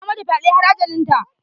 Ya mata fyɗe har ajalinta.